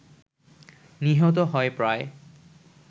নিহত হয় প্রায়